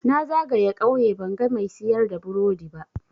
Na zagaye ƙauye banga mai siyar da burodi ba.